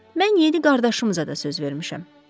Mən yeni qardaşımıza da söz vermişəm.